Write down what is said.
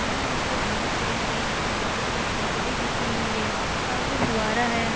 यहां नीचे घांस है बीच में लाल कलर की दरी बिछी हुई है सामने फुआरा है।